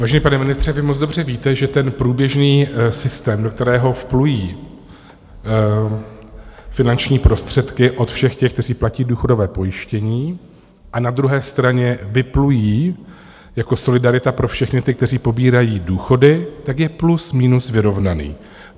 Vážený pane ministře, vy moc dobře víte, že ten průběžný systém, do kterého vplují finanční prostředky od všech těch, kteří platí důchodové pojištění, a na druhé straně vyplují jako solidarita pro všechny ty, kteří pobírají důchody, tak je plus minus vyrovnaný.